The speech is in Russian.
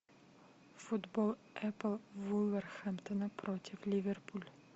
футбол апл вулверхэмптона против ливерпуля